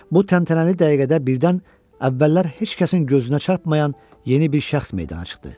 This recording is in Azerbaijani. Bu təntənəli dəqiqədə birdən əvvəllər heç kəsin gözünə çarpayan yeni bir şəxs meydana çıxdı.